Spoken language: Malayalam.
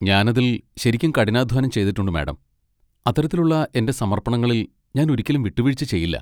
ഞാൻ അതിൽ ശരിക്കും കഠിനാധ്വാനം ചെയ്തിട്ടുണ്ട്, മാഡം, അത്തരത്തിലുള്ള എന്റെ സമർപ്പണങ്ങളിൽ ഞാൻ ഒരിക്കലും വിട്ടുവീഴ്ച ചെയ്യില്ല.